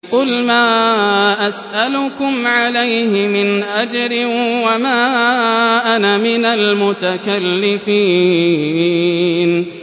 قُلْ مَا أَسْأَلُكُمْ عَلَيْهِ مِنْ أَجْرٍ وَمَا أَنَا مِنَ الْمُتَكَلِّفِينَ